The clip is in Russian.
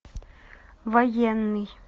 военный